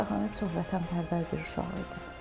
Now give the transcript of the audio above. Səxavət çox vətənpərvər bir uşaq idi.